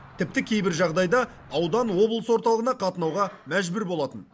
тіпті кейбір жағдайда аудан облыс орталығына қатынауға мәжбүр болатын